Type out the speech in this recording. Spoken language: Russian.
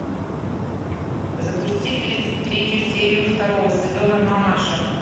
запусти тридцать третью серию второго сезона мамаша